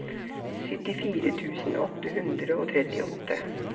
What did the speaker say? syttifire tusen åtte hundre og trettiåtte